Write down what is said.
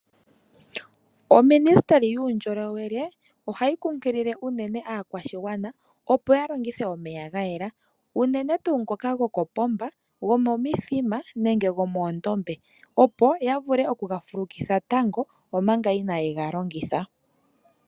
Oministili yuundjolowele ohayi kunkilile unene aakwashigwana opo ya longithe omeya ga yela, unene tuu ngoka gokopomba, gomomithima nenge gomoondombe opo ya vule okuga fulukitha tango omanga ina ye ga longitha.